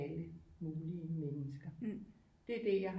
Alle mulige mennesker det er det jeg